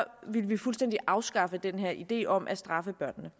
ville vi fuldstændig afskaffe den her idé om at straffe børnene